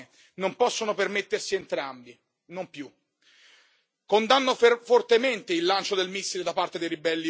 Ogni giorno le famiglie devono scegliere se comprare l'acqua pulita o il pane, perché non possono permettersi entrambi, non più.